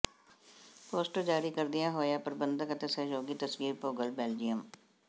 poster ਜਾਰੀ ਕਰਦੀਆ ਹੋਈਆ ਪ੍ਰਬੰਧਕ ਅਤੇ ਸਹਿਯੋਗੀ ਤਸਵੀਰ ਭੋਗਲ ਬੈਲਜੀਅਮ